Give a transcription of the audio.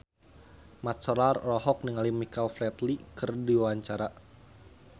Mat Solar olohok ningali Michael Flatley keur diwawancara